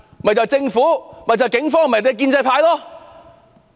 就是政府、警方和建制派。